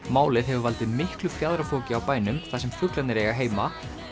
málið hefur valdið miklu fjaðrafoki á bænum þar sem fuglarnir eiga heima